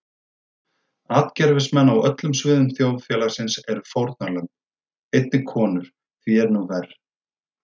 Atgervismenn á öllum sviðum þjóðfélagsins eru fórnarlömb, einnig konur því er nú verr.